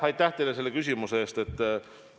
Aitäh teile selle küsimuse eest!